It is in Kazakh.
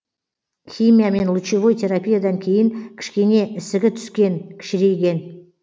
химия мен лучевой терапиядан кейін кішкене ісігі түскен кішірейген